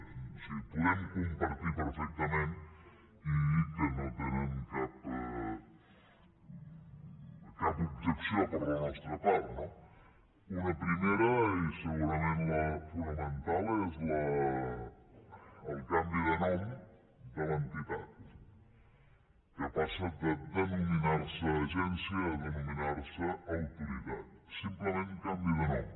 o sigui podem compartir perfectament i que no tenen cap objecció per la nostra part no una primera i segurament la fonamental és el canvi de nom de l’entitat que passa de denominar se agència a denominar se autoritat simplement canvi de nom